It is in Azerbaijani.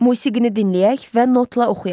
Musiqini dinləyək və notla oxuyaq.